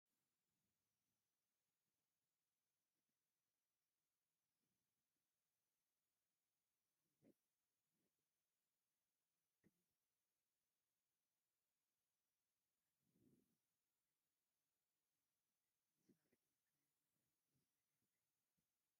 ፅቡቓት ወናብርን ጠረጴዛን ይርአዩ ኣለዉ፡፡ ኣብ ዘመንና ኣብ ውሽጢ ዓዲ ዝስርሑ ናይ ዕንጨይቲ ናውቲ ንናይ ደገ ዘንዕቑ እዮም፡፡ ንስኻትኩም ከ ነዚ ነገር ከመይ ትርእይዎ?